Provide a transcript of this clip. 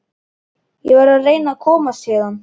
Ég verð að reyna að komast héðan.